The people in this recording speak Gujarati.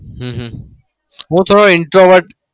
હમ હમ હું થોડો introvert